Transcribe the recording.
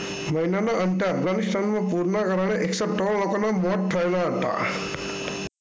મહિનાના અંતે અફઘાનિસ્તાનમાં પૂરના કારણે એકસો ત્રણ લોકોના મોત થયેલા હતા.